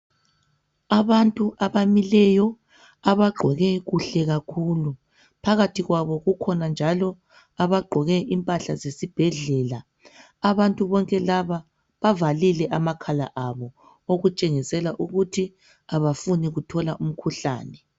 Abantu abamileyo abagqoke kuhle kakhulu, phakathi kwabo kukhona njalo abagqoke impahla zesibhedlela. Abantu bonke laba bavalile amakhala abo okutshengisela ukuthi abafuni kuthola umkhuhlane